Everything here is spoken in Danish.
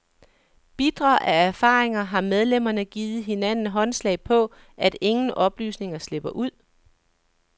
Bitre af erfaringer har medlemmerne givet hinanden håndslag på, at ingen oplysninger slipper ud.